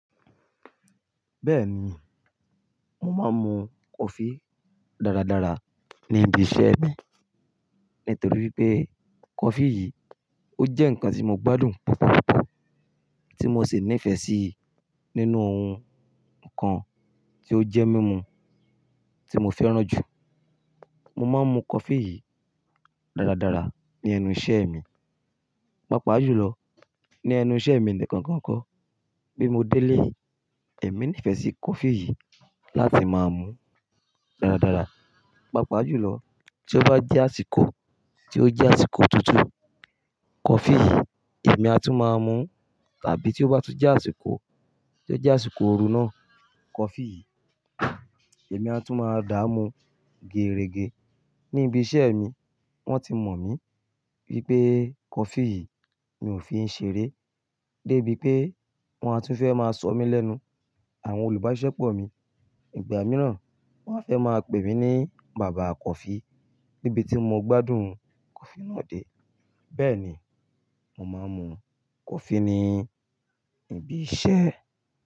Bẹ́ẹ̀ni, mo máa ń mu coffee dáradára ní ibi iṣẹ́ mi nítorí wipé coffee yìí ó jẹ́ ǹkan tí mo gbádùn púpọ̀púpọ̀, tí mo ṣi nífẹ̀ẹ́ sí nínú ohun ǹkan tí ó jẹ́ mímu tí mo fẹ́ràn jù. Mo máa ń mu coffee yìí dáradára ní ẹnu iṣẹ́ mi, pàápàá jùlọ ní ẹnu iṣẹ́ mi nìkan gan kọ́ bí mo délé ẹmí nífẹ̀ẹ́ sí coffee yìí láti máa mu dáradára. Pàápàá jùlọ tí ó bá jẹ́ àsìkò tí ó jẹ́ àsìkò otutu, coffee yìí èmi á tún máa ń mu tàbí tí ó bá tún jẹ́ àsìkò tí ó jẹ́ àsìkò ooru náà, coffee yìí èmi á tún máa dá mú gerege. Ní ibi iṣẹ́ mi wọ́n ti mọ̀ mí wípé coffee yìí mi ò fi ń ṣeré dé bí pé wọ́n á tún fẹ́ máa sọ mí lẹ́nu àwọn olùbáṣepọ̀ mi. Ìgbà mìíràn wọ́n á fẹ́ máa pè mí ní bàbá coffee nítorí pé bí tí mo gbádùn coffee náà dé. Bẹ́ẹ̀ ni, mo máa ń mu coffee ní ibi iṣẹ́